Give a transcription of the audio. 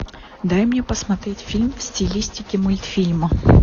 дай мне посмотреть фильм в стилистике мультфильма